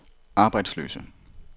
arbejdsløse